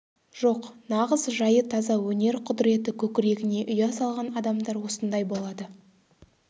жоқ нағыз жайы таза өнер құдіреті көкірегіне ұя салған адамдар осындай болады